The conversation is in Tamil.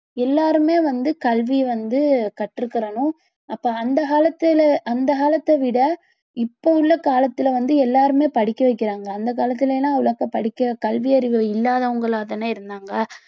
எல்லாருமே வந்து கல்வியை வந்து கற்றுக்கணும் அப்ப அந்த காலத்துல அந்த காலத்தை விட இப்போ உள்ள காலத்துல வந்து எல்லாருமே படிக்க வைக்கிறாங்க அந்த காலத்துல எல்லாம் அவ்வளவா படிக்க கல்வியறிவு இல்லாதவங்களா தானா இருந்தாங்க